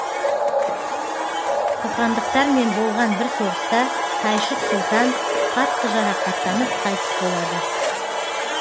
қоқандықтармен болған бір соғыста тайшық сұлтан қатты жарақаттанып қайтыс болады